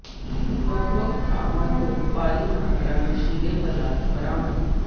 ਵੱਖ ਵੱਖ ਥਾਵਾਂ ਤੋਂ ਭਾਰੀ ਮਾਤਰਾਂ ਨਸ਼ੀਲੇ ਪਦਾਰਥ ਬਰਾਮਦ